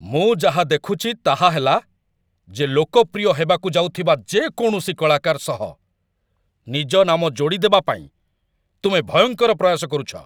ମୁଁ ଯାହା ଦେଖୁଛି ତାହା ହେଲା, ଯେ ଲୋକପ୍ରିୟ ହେବାକୁ ଯାଉଥିବା ଯେକୌଣସି କଳାକାର ସହ ନିଜ ନାମ ଯୋଡ଼ିଦେବା ପାଇଁ ତୁମେ ଭୟଙ୍କର ପ୍ରୟାସ କରୁଛ।